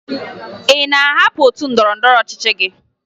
Ị na-ahapụ otu ndọrọndọrọ ọchịchị gị?